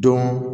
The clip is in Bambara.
Dɔn